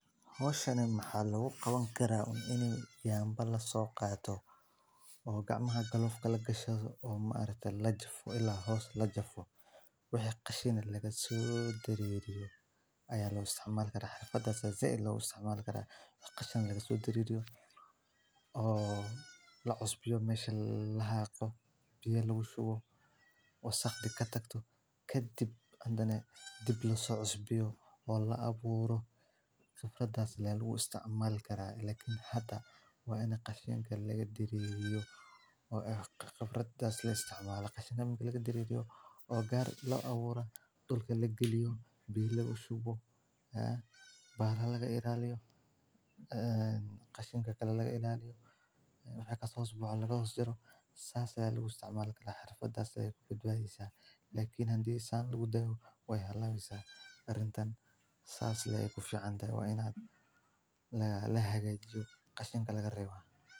Howshani maxa lagu qabani karaa inay yaambal la soo qaato oo gacmaha golufka la gasho oo maareetaa la jir ilaa hoos la jir. Waxay khashina laga soo diririyo ayaa loo isticmaal galah xirfadasa zeeyay loo isticmaal karaa qashinka lagu diririyo oo la isbiyo meesha la aqoon biyaa loogu shubo wasakhdi ka tagto ka dib. Hadane dib lo so isbiyo oo la abuurro. Kharafdaas leeyahay lagu isticmaal karaa lakin hadda wayna khashinkay laga diririyo oo kharafdaas la isticmaala. Qashanka mimii laga diririyo? Ogaar la abuuro dhulka la geliyo bii lugu shubo. Baharaa laga iraliyo. Khashinka kala laga iraliyo. Way ka sooco boqol lagu xiro saas laga isticmaal kara harfa dhaheysa fudud aheysa. Lakiin handysan lagu dayo way helaaysa arrintan. Saas laga khufshaan dayo waynaad la heegay joob khashinka laga reebaa.